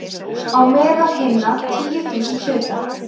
„á meðal hinna tíu þúsund hluta